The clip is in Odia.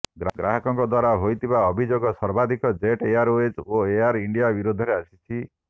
ଗ୍ରାହକଙ୍କ ଦ୍ୱାରା ହୋଇଥିବା ଅଭିଯୋଗ ସର୍ବାଧିକ ଜେଟ ଏୟାରେଓ୍ବଜ୍ ଓ ଏୟାର ଇଣ୍ଡିଆ ବିରୋଧରେ ଆସିଛି